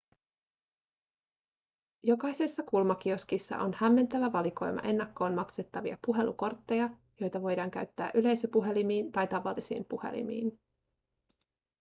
jokaisessa kulmakioskissa on hämmentävä valikoima ennakkoon maksettavia puhelukortteja joita voidaan käyttää yleisöpuhelimiin tai tavallisiin puhelimiin